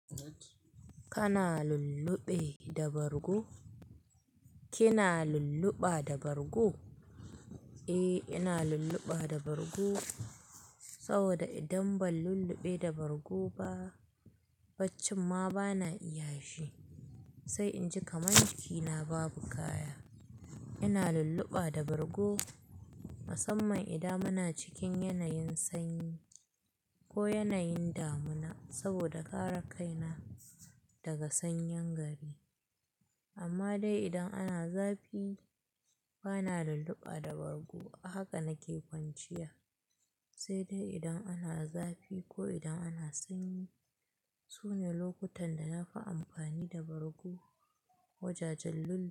Kana lulluɓe da bargo? Kina lulluɓa da bargo? Eh, ina lulluɓa da bargo saboda idan ban lulluɓe da bargo ba, faccin ma bana iya shi. Sai inji kamanciki na babu kaya. Ina lulluɓa da bargo musamman idan muna cikin yanayin sanyi ko yanayin damuna saboda kare kaina daga sanyen gari. Amma dai idan ana zafi bana lulluɓa da bargo. Haka nake kwanciya, sai dai idan ana zafi ko idan ana sanyi. Sune lokutan da na fi amfani da bargo, wajajen lulluɓe.